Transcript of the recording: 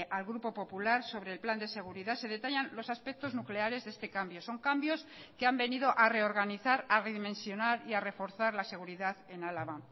al grupo popular sobre el plan de seguridad se detallan los aspectos nucleares de este cambio son cambios que han venido a reorganizar a redimensionar y a reforzar la seguridad en álava